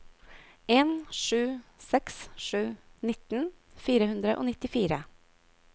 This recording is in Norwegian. en sju seks sju nitten fire hundre og nittifire